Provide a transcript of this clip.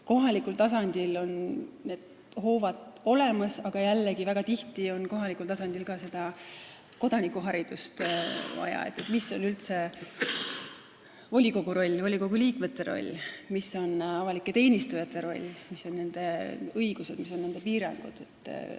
Kohalikul tasandil on need hoovad olemas, aga jällegi, väga tihti on kohalikul tasandil vaja ka kodanikuharidust, et mis on üldse volikogu roll, volikogu liikmete roll, mis on avalike teenistujate roll, mis on nende õigused ja millised piirangud neil on.